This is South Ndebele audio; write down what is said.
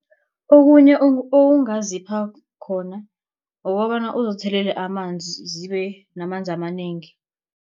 Okunye ongazipha khona kukobana uzithelele amanzi zibe namanzi amanengi.